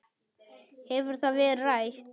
Hefur það verið rætt?